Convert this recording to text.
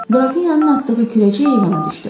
Qrafinyanın atdığı küləcək eyvana düşdü.